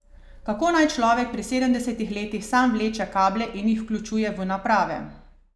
Kako naj človek pri sedemdesetih letih sam vleče kable in jih vključuje v naprave.